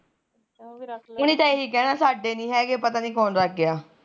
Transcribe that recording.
ਇਹੀ ਕਹਿਣਾ ਸਾਡੇ ਨੀ ਹੈਗੇ ਪਤਾ ਨੀ ਕੋਣ ਰੱਖ ਗਿਆ